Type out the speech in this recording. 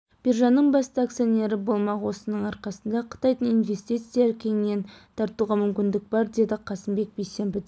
биржаның басты акционері болмақ осының арқасында қытайдың инвестициясын кеңінен тартуға мүмкіндік бар деді қасымбек бейсенбіде